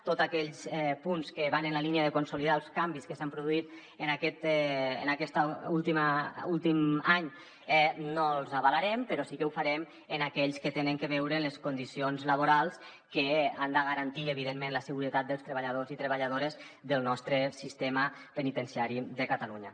tots aquells punts que van en la línia de consolidar els canvis que s’han produït en aquest últim any no els avalarem però sí que ho farem amb aquells que tenen a veure amb les condicions laborals que han de garantir evidentment la seguretat dels treballadors i treballadores del nostre sistema penitenciari de catalunya